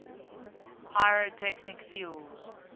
pyrotechnic fuels